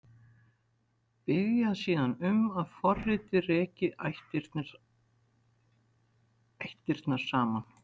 Biðja síðan um að forritið reki ættirnar saman.